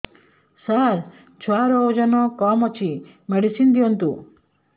ସାର ଛୁଆର ଓଜନ କମ ଅଛି ମେଡିସିନ ଦିଅନ୍ତୁ